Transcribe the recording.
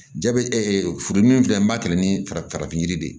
Ja bɛ ɛ furu dimi filɛ n b'a kɛ ni farafinfura farafin yiri de ye